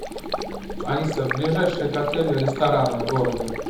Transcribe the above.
алиса ближайшие к отелю рестораны в городе